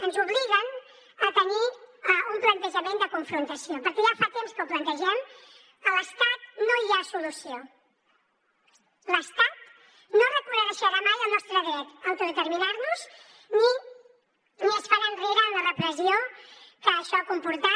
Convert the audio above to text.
ens obliguen a tenir un plantejament de confrontació perquè ja fa temps que ho plantegem a l’estat no hi ha solució l’estat no reconeixerà mai el nostre dret a autodeterminar nos ni es farà enrere en la repressió que això ha comportat